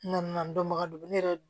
N nana n dɔnbaga don ne yɛrɛ